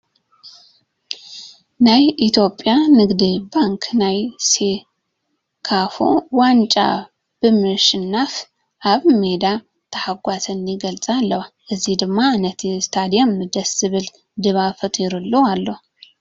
ናይ ኢትዮጵያ ንግዲ ባንኪ ናይ ሴካፋ ዋንጫ ብምሽናፈን ኣብ ሜዳ ተሓጓሰን ይገልፃ ኣለዋ፡፡ እዚ ድማ ነቲ ስቴድየም ደስ ዝብል ዳባብ ፈጢሩሉ ኣሎ፡፡